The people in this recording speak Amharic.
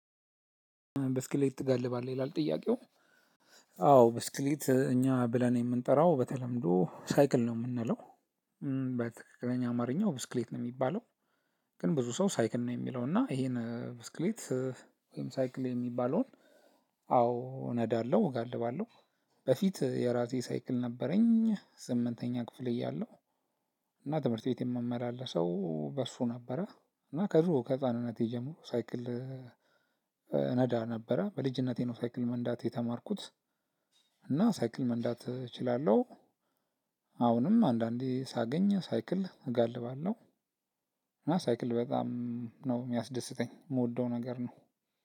ብስክሌት ትጋልባለህ ይላል? ጥያቄው አዎ ብስክሌት እኛ ብለን የምንጠራው በተለምዶ ሳይክል ነው የምንለው በትክክለኛ አማርኛው ብስክሌት ነው የሚባለው። ግን ብዙ ሰው ሳይክል ነው የሚለው እና ይሄን ብስክሌት ወይም ሳይክል የሚባለውን አዎ ነዳለው እጋልባለሁ። በፊት የራሴ ሳይክል ነበረኝ ስምንተኛ ክፍል እያለሁ እና ትምህርት ቤት የምመላለሰው በእሱ ነበረ። እና ከድሮ ከህፃንነቴ ጀምሮ ሳይክል ነዳ ነበረ በልጅነቴ ነው ሳይክል መንዳት የተማርኩት። እና ሳይክል መንዳት እችላለሁ። አሁንም አንዳንዴ ሳገኝ ሳይክል እጋልባለሁ። እና ሳይክል በጣም ነው የሚያስደስተኝ የምወደው ነገር ነው።